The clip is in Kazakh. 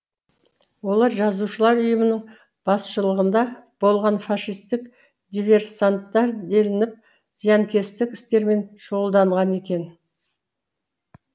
олар жазушылар ұйымының басшылығында болған фашистік диверсанттар делініп зиянкестік істермен шұғылданған екен